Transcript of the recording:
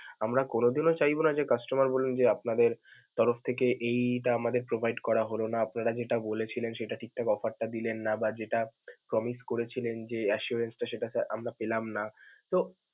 আমরা কোনোদিনও চাইব না যে customer বলুক যে আপনাদের তরফ থেকেই এইটা আমাদের provide করা হল না, আপনারা যেটা বলেছিলেন সেটা ঠিকঠাক offer টা দিলেন না বা যেটা promise করেছিলেন যে assurance টা সেটা sir আমরা পেলাম না তো.